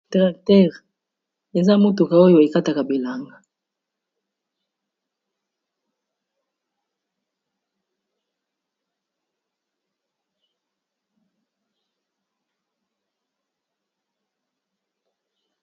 Tracteur eza motuka oyo ekataka bilanga.